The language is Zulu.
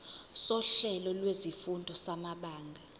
sohlelo lwezifundo samabanga